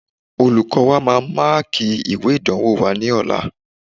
Olùkọ́ọ wa máa máàkì ìwé ìdánwò wa ní ọ̀la